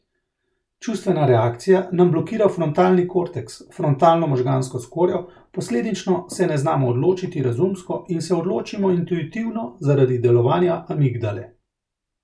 Čustvena reakcija nam blokira frontalni korteks, frontalno možgansko skorjo, posledično se ne znamo odločiti razumsko in se odločimo intuitivno zaradi delovanja amigdale.